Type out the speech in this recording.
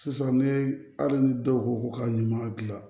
Sisan ni hali ni dɔw ko ko ka ɲuman gilan